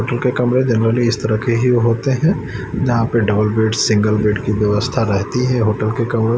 hotel के कमरे generally इस तरह के ही होते हैं जहां पे डबल बेड सिंगल बेड की व्यवस्था रहती हैं होटल के कमरे--